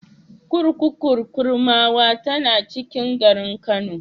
Kurkukun Kurmawa tana cikin garin Kano.